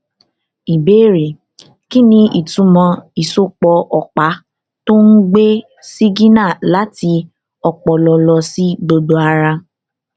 ìbéèrè kí ni ìtumọ ìsopọ ọpá tó ń gbé sígínà láti ọpọlọ lọ sí gbogbo ara